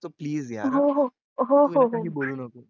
so please यार काही बोलू नको.